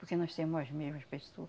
Porque nós semo as mesmas pessoa.